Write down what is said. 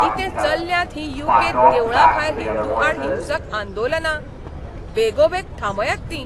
कितें चल्ल्यांत हीं यू. कें. त देवळां भायर हिंदूं आड हिंसक आंदोलनां? बेगोबेग थांबयात तीं.